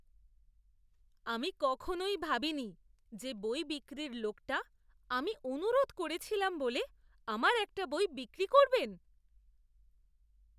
আমি কখনই ভাবিনি যে বই বিক্রির লোকটা আমি অনুরোধ করেছিলাম বলে আমার একটা বই বিক্রি করবেন!